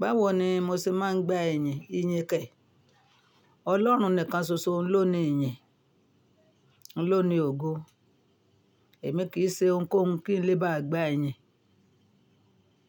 Báwo ni mo ṣe máa ń gba ẹ̀yìn? Ìyìn kẹ̀. Ọlọ́run nìkan ṣoṣo ló ni iyìn, ló ni ògo. Èmi kì í ṣe ohunkohun kí n lè bá gbà iyìn,